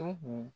Tohu